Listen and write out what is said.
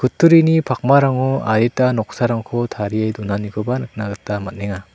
turini pakmarango adita noksarangko tarie donanikoba nikna gita man·enga.